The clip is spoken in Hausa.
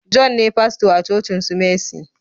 John ne fasto a cocin su messi